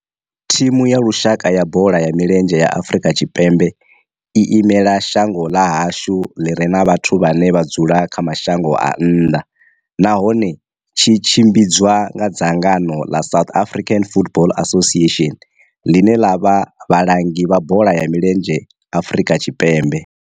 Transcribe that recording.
Thimu ya lushaka ya bola ya milenzhe ya Afrika Tshipembe i imela shango ḽa hashu ḽi re na vhathu vhane vha dzula kha mashango a nnḓa nahone tshi tshimbidzwa nga dzangano la South African Football Association, line la vha vhalangi vha bola ya milenzhe Afrika Tshipembe.